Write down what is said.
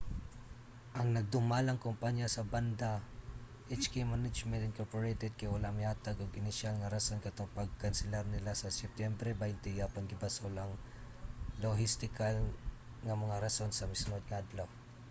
ang nagdumalang kompanya sa banda hk management inc. kay wala mihatag og inisyal nga rason katong pagkanselar nila sa septyembre 20 apan gibasol ang lohistikal nga mga rason sa misunod nga adlaw